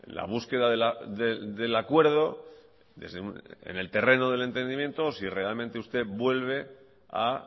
la búsqueda del acuerdo en el terreno del entendimiento o si realmente usted vuelve a